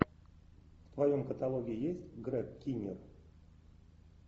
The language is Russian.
в твоем каталоге есть грег киннер